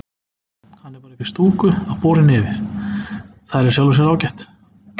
Hann er bara uppí stúku að bora í nefið, það er í sjálfu sér ágætt.